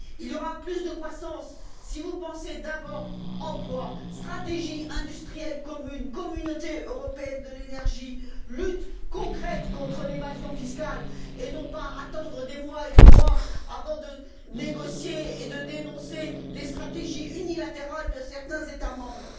Il y aura plus de croissance si vous pensez d'abord emplois, stratégies industrielles communes, communauté européenne de l'énergie, lutte concrète contre l'évasion fiscale, au lieu d'attendre des mois et des mois avant de négocier et de dénoncer les stratégies unilatérales de certains États membres.